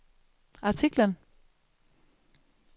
artiklen